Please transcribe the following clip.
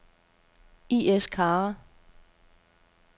I/S Kara